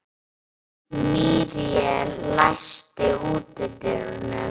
Míríel, læstu útidyrunum.